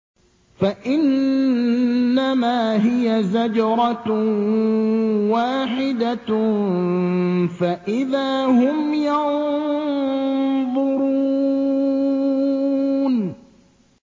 فَإِنَّمَا هِيَ زَجْرَةٌ وَاحِدَةٌ فَإِذَا هُمْ يَنظُرُونَ